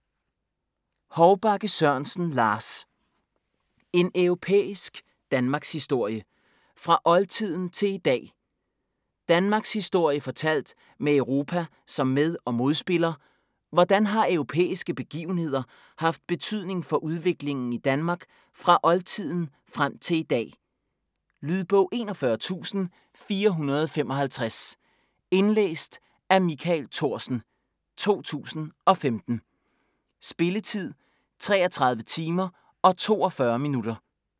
Hovbakke Sørensen, Lars: En europæisk danmarkshistorie - fra oldtiden til i dag Danmarkshistorie fortalt med Europa som med- og modspiller, hvordan har europæiske begivenheder haft betydning for udviklingen i Danmark fra oldtiden frem til i dag. Lydbog 41455 Indlæst af Michael Thorsen, 2015. Spilletid: 33 timer, 42 minutter.